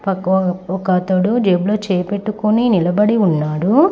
ఒకతడు ఒక అతడు జేబులో చేయి పట్టుకొని నిలబడి ఉన్నాడు.